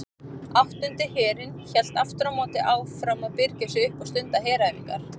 Áttundi herinn hélt aftur á móti áfram að birgja sig upp og stunda heræfingar.